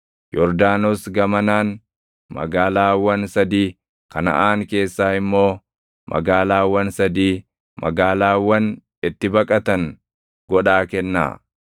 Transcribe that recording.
Yordaanos gamanaan magaalaawwan sadii, Kanaʼaan keessaa immoo magaalaawwan sadii, magaalaawwan itti baqatan godhaa kennaa.